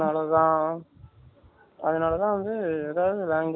அதுனால தான் வந்து எதாவது language